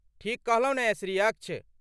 ठीक कहलौं ने श्री अक्ष?